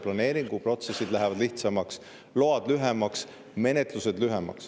Planeeringuprotsessid lähevad lihtsamaks, loamenetlused lühemaks.